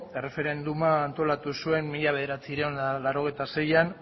erreferenduma antolatu zuen mila bederatziehun eta laurogeita seian